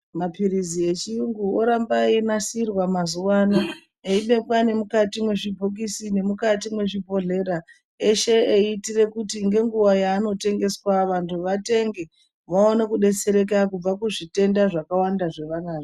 Mapilizi yechiyungu oramba eyinasirwq mazuva ano eyibekwa nemukati mwzvibhokisi nemukati muzvibhodhleya eshe eyiitire kuti nenguva yaanotengeswa vantu vatenge vaone kudetsereka kubva kuzvitenda zvakawanda zvava nazvo.